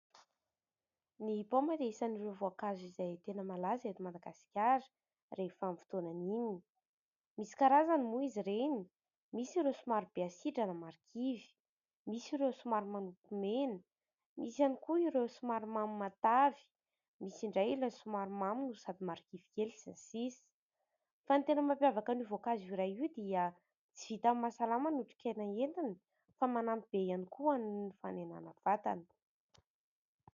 Ny paoma dia isan'ireo voankazo izay tena malaza eto Madagasikara rehefa amin'ny fotoanany iny. Misy karazany moa izy reny : misy ireo somary be asidra na marikivy, misy ireo somary manopy mena, misy ihany koa ireo somary mamy matavy, misy indray ilay somary mamy no sady marikivy kely, sy ny sisa. Fa ny tena mampiavaka an'io voankazo iray io dia tsy vitan'ny mahasalama ny otrikaina entiny fa manampy be ihany koa ho an'ny fanenàna vatana.